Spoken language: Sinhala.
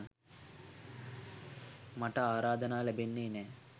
මට ආරාධනා ලැබෙන්නෙ නෑ.